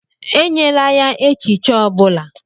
Enyela ya echichi ọ bụla!